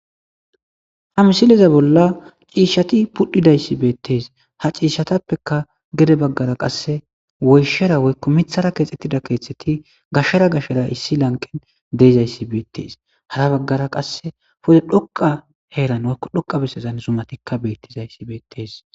Ha misileza bolla ciishshati pudhidayssi beettes ha ciishshatappeka gede baggara qasse woyshera woykko mithara keexxettida keeththeti gashshera gashera issi lanqen deezayssi beettes hara baggara qasse pode dhoqa heeran woykko dhoqa besezan zumatikka beettizayssi beettees